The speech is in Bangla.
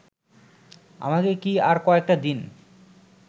আমাকে কি আর কয়েকটা দিন